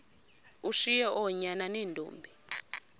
ushiye oonyana neentombi